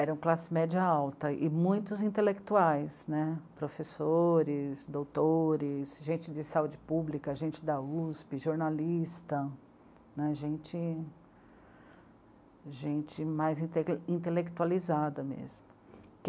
Eram classe média alta e muitos intelectuais, né, professores, doutores, gente de saúde pública, gente da USP, jornalista, né, gente... gente mais inte intelectualizada mesmo.